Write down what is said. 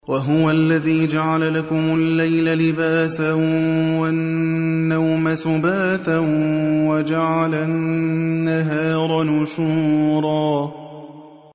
وَهُوَ الَّذِي جَعَلَ لَكُمُ اللَّيْلَ لِبَاسًا وَالنَّوْمَ سُبَاتًا وَجَعَلَ النَّهَارَ نُشُورًا